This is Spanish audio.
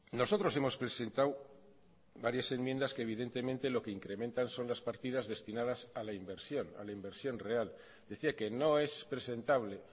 nosotros hemos presentado varias enmiendas que evidentemente lo que incrementan son las partidas destinadas a la inversión a la inversión real decía que no es presentable